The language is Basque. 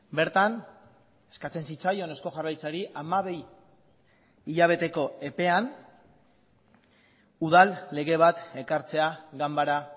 bertan eskatzen zitzaion eusko jaurlaritzari hamabi hilabeteko epean udal lege bat ekartzea ganbara